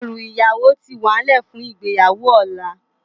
Èrú iyáwó ti wánlè fún igbéyáwó òlá